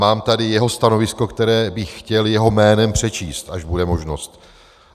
Mám tady jeho stanovisko, které bych chtěl jeho jménem přečíst, až bude možnost.